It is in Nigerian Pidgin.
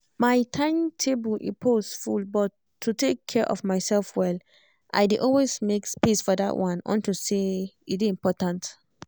my timetable e pause full but to take care of myself well i dey always make space for that one unto say e dey important